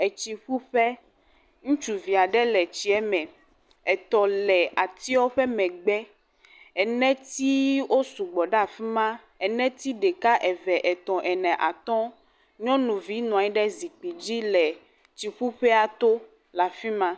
Etsiƒuƒe, ŋutsuvi aɖe le tsie me, etɔ le atiewo ƒe megbe , eneti osu gbɔ ɖe afi ma, eneti ɖeka, eve, etɔ̃ ene, atɔ̃, nyɔnuvi nɔ anyi ɖe zikpui dzi le tsiƒuƒea to le afi ma.